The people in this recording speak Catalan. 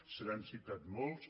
se n’han citat molts